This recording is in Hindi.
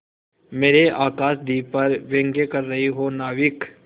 मेरे आकाशदीप पर व्यंग कर रहे हो नाविक